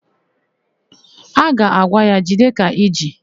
Ha ga-agwa ya, "jide ka i ji"!